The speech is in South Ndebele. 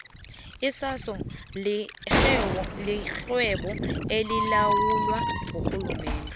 isaso lirhwebo elilawulwa ngurhulumende